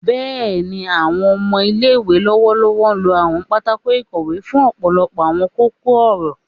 Bẹẹni, awọn ọmọ ile-iwe lọwọlọwọ lo Awon patako ikowe fun ọpọlọpọ awọn koko-ọrọ